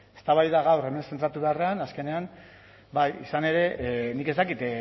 eztabaida gaur hemen zentratu beharrean azkenean izan ere nik ez dakit